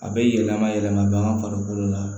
A bɛ yɛlɛma yɛlɛma bagan farikolo la